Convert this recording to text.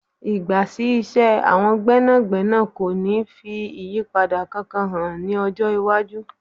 Ì̀gbà sí iṣẹ́ àwọn gbẹ́nàgbẹ́nà kò ní fi ìyípadà kankan hàn ní ọjọ́ iwájú.